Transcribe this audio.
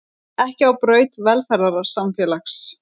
Ekki á braut velferðarsamfélags